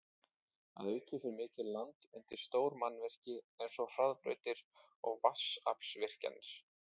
Að auki fer mikið land undir stór mannvirki eins og hraðbrautir og vatnsaflsvirkjanir.